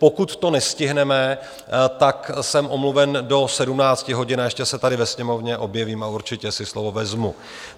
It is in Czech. Pokud to nestihneme, tak jsem omluven do 17 hodin, ještě se tady ve Sněmovně objevím a určitě si slovo vezmu.